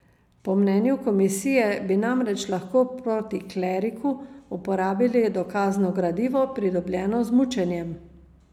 Po mnenju komisije bi namreč lahko proti kleriku uporabili dokazno gradivo, pridobljeno z mučenjem.